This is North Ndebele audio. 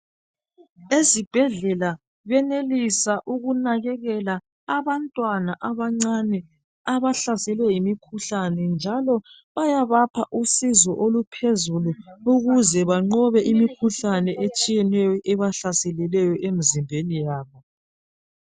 ezibhedlela benelisa ukunakekela abantwana abancane abahlaselwe yimikhuhlane njalo bayabapha usizo oluphezulu ukuze banqobe imikhuhlane etshiyeneyo ebahlaseleyo emzimbeni yabo